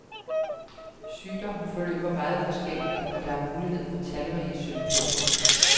Sygdommen forløber meget forskelligt og der er mulighed for talrige symptomer.